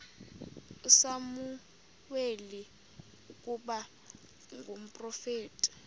usamuweli ukuba ngumprofeti